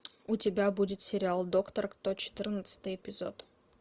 у тебя будет сериал доктор кто четырнадцатый эпизод